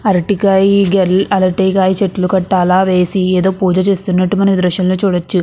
అరటికాయీ గెల్ అరటికాయ చెట్లు కట్టాల వేసి ఏదో పూజ చేస్తున్నట్లు మనం ఈ దృశ్యంలో చూడచ్చు.